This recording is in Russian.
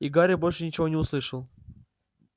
и гарри больше ничего не услышал